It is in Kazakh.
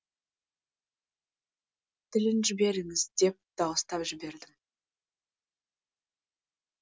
тілін жіберіңіз деп дауыстап жібердім